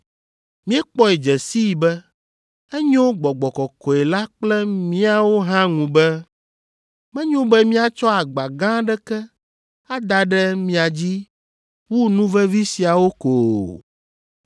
Míekpɔe dze sii be enyo Gbɔgbɔ Kɔkɔe la kple míawo hã ŋu be, menyo be míatsɔ agba gã aɖeke ada ɖe mia dzi wu nu vevi siawo ko o,